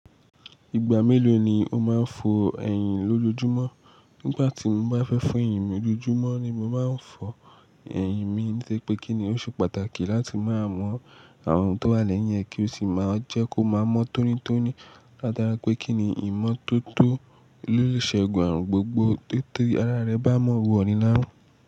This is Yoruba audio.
Ìgbà mélòó ni o máa ń fo ẹ̀yìn lójoojúmọ́? Nígbà tí mo bá fẹ́ fo ẹ̀yìn mi lójoojúmọ́ ni mo máa ń fọ ẹ̀yìn mi, to ri pè kí ni ó ṣe pàtàkì láti máa mọ àwọn ohun tó wà lẹ́yìn ẹ́, kí ó sì máa jẹ́ kó máa mọ́ tónítóní látara pé kí ni ìmọ́tótó ló le ṣe gùn àrùn gbogbo tó tí ara rẹ bá mọ́ wò ni láró.